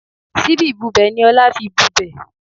Síbí ìbubẹ̀ ni Ọlá fi bubẹ̀